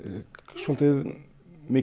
svolítið mikið